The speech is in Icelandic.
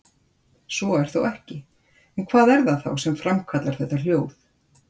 Svo er þó ekki, en hvað er það þá sem framkallar þetta hljóð?